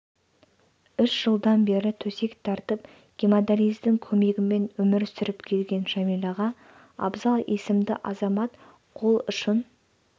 үш жылдан бері төсек тартып гемодиализдің көмегімен өмір сүріп келген жәмилаға абзал есімді азамат қол ұшын